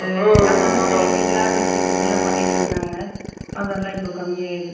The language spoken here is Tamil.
அதெல்லாம் தேவையில்லாத விஷயத்துக்கெல்லாம் பண்ணிட்டு இருந்தாங்க அதெல்லாம் இப்போ கம்மியாயிடுச்சு